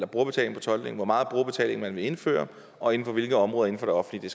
brugerbetaling for tolkning hvor meget brugerbetaling man vil indføre og inden for hvilke områder inden for det offentlige